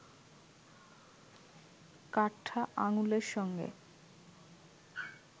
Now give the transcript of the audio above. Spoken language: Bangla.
কাঠটা আঙুলের সঙ্গে